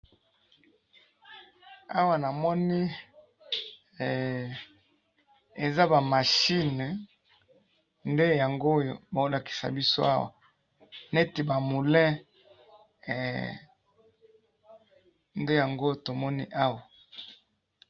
Namoni Awa bolakisi biso pine. Na kati yango, namoni ba matiti ya molayi na eloko eza na kati ya matiti, eloko ya pembe.